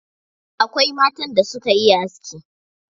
Akwai matan da suka iya aski.